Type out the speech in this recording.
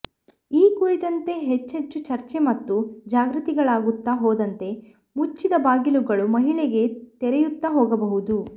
ಈ ಕುರಿತಂತೆ ಹೆಚ್ಚೆಚ್ಚು ಚರ್ಚೆ ಮತ್ತು ಜಾಗೃತಿಗಳಾಗುತ್ತಾ ಹೋದಂತೆ ಮುಚ್ಚಿದ ಬಾಗಿಲುಗಳೂ ಮಹಿಳೆಗೆ ತೆರೆಯುತ್ತಾ ಹೋಗಬಹುದು